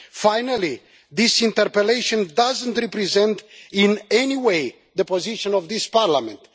Finally, this interpellation does not represent in anyway the position of this Parliament.